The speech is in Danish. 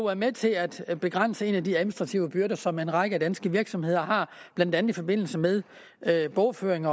er med til at at begrænse en af de administrative byrder som en række danske virksomheder har blandt andet i forbindelse med bogføring